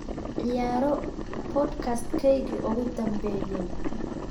ciyaaro podcast-keygii ugu dambeeyay